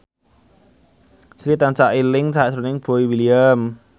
Sri tansah eling sakjroning Boy William